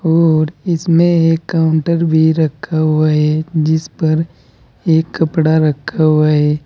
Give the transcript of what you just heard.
और इसमें एक काउंटर भी रखा हुआ है जिस पर एक कपड़ा रखा हुआ है।